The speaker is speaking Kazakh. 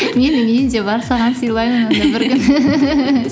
менің үйімде бар саған сыйлаймын онда бір күн